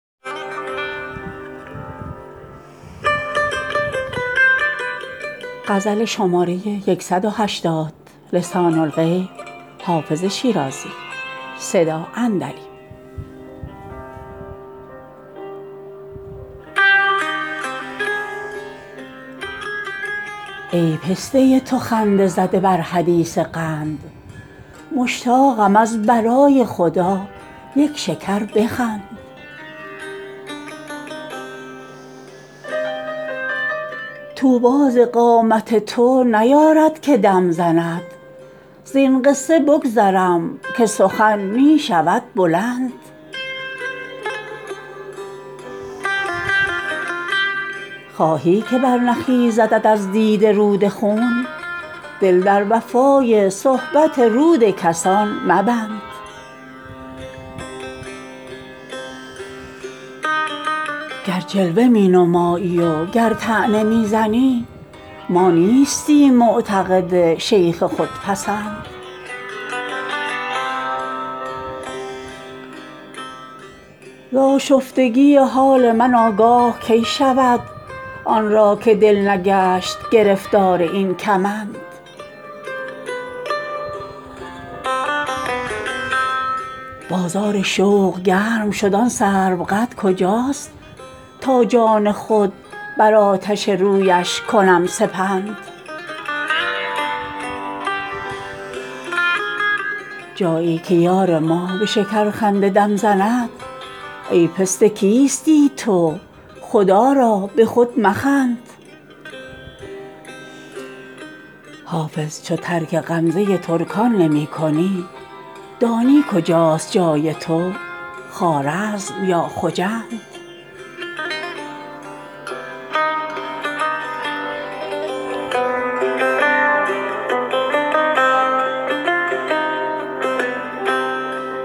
ای پسته تو خنده زده بر حدیث قند مشتاقم از برای خدا یک شکر بخند طوبی ز قامت تو نیارد که دم زند زین قصه بگذرم که سخن می شود بلند خواهی که برنخیزدت از دیده رود خون دل در وفای صحبت رود کسان مبند گر جلوه می نمایی و گر طعنه می زنی ما نیستیم معتقد شیخ خودپسند ز آشفتگی حال من آگاه کی شود آن را که دل نگشت گرفتار این کمند بازار شوق گرم شد آن سروقد کجاست تا جان خود بر آتش رویش کنم سپند جایی که یار ما به شکرخنده دم زند ای پسته کیستی تو خدا را به خود مخند حافظ چو ترک غمزه ترکان نمی کنی دانی کجاست جای تو خوارزم یا خجند